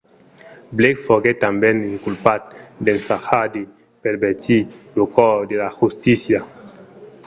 blake foguèt tanben inculpat d’ensajar de pervertir lo cors de la justícia